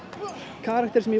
karakter sem ég